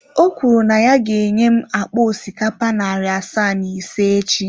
O kwuru na ya ga-enye m akpa osikapa narị asaa na ise echi.